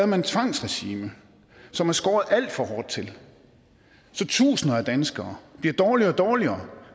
man et tvangsregime som er skåret alt for hårdt til så tusinder af danskere bliver dårligere og dårligere